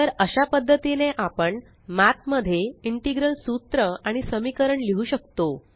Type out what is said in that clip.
तर अशा पद्धतीने आपण मठ मध्ये इंटेग्रल सूत्र आणि समीकरण लिहु शकतो